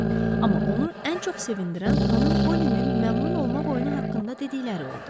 Amma onu ən çox sevindirən xanım Polinin məmnun olmaq oyunu haqqında dedikləri oldu.